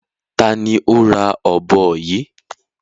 Ta ni ó ra ọ̀bọ yìí?